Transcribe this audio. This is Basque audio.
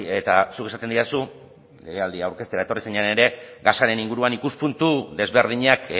eta zuk esaten didazu legealdia aurkeztera etorri zinenean ere gasaren inguruan ikuspuntu desberdinak